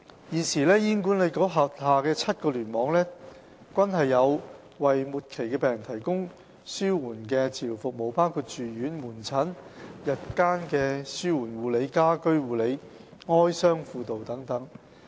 現時醫管局轄下7個聯網均有為末期病人提供紓緩治療服務，包括住院、門診、日間紓緩護理、家居護理、哀傷輔導等。